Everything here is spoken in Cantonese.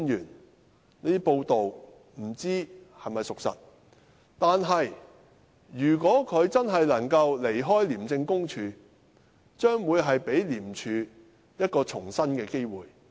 我不知道這些報道是否屬實，但如果他確實能夠離開廉署，將可給予廉署一個重生的機會。